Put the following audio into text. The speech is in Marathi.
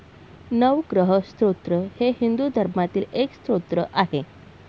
नवग्रह स्तोत्र हे हिंदू धर्मातील एक स्तोत्र आहे.